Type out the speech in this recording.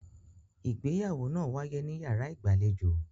Ìgbéyàwó náà wáyé níyàrá ìgbàlejò.